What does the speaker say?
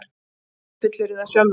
Bjössi fullyrðir það sjálfur.